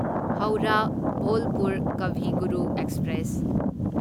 Howrah Bolpur Kavi Guru express